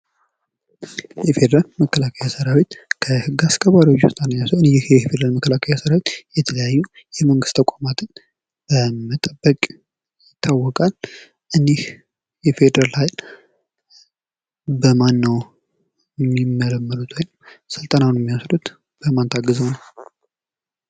የፌዴራል መከላከያ ሰራዊት ከህግ አስከባሪዎች ዉስጥ አንደኛዉ ሲሆን ይህ የፌዴራል መከላከያ ሰራዊት የተለያዩ የመንግስት ተቋምን በመጠበቅ ይታወቃል። ይህ የፌዴራል ኃይል በማን ነዉ የሚመለመሉት በማን ታግዘዉ ነዉ።